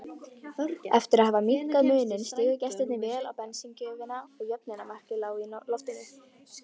Eftir að hafa minnkað muninn stigu gestirnir vel á bensíngjöfina og jöfnunarmarkið lá í loftinu.